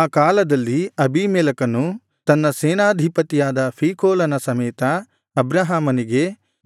ಆ ಕಾಲದಲ್ಲಿ ಅಬೀಮೆಲೆಕನು ತನ್ನ ಸೇನಾಧಿಪತಿಯಾದ ಫೀಕೋಲನ ಸಮೇತ ಅಬ್ರಹಾಮನಿಗೆ